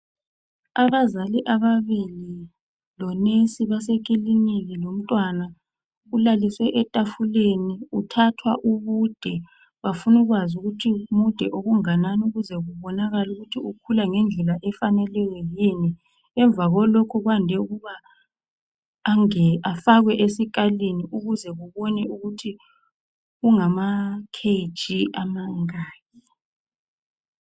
Abazali ababili lonensi basekilinika lomntwana ulaliswe etafuleni kuthathwa ubude. Bafuna ukwazi ukuthi mude okunganani ukuze kubonakale ukuthi ukhula ngendlela efaneleyo yini. Emva kwalokho kwande ukuba afakwe esikalini ukuze kubonakale ukuthi ungama kg amangaki.